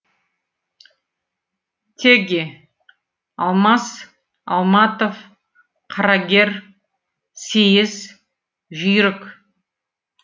теги алмас алматов қарагер сейіс жүйрік